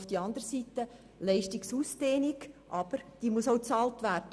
Auf der anderen Seite muss eine allfällige Ausdehnung der Leistung bezahlt werden.